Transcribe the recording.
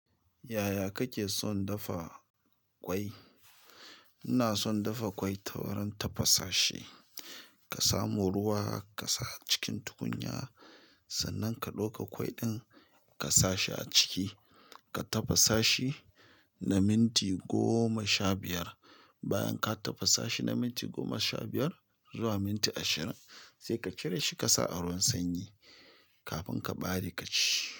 Yaya kake son dafa ƙwai? Ina son dafa kwai tawurin tafa sashi ka samu ruwa ka sa a cikin tukunya, sannan ka ɗauka ƙwai ɗin ka sa shi a ciki. Ka tafasa shi na minti goma sha biyar. Bayan ka tafasa shi na minti goma sha biyar zuwa minti ashirin sai ka cire shi ka sa a ruwan sanyi kafin ka ɓare ka ci.